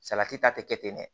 Salati ta te kɛ ten dɛ